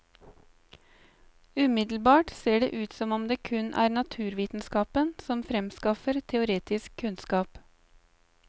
Umiddelbart ser det ut som om det kun er naturvitenskapen som fremskaffer teoretisk kunnskap.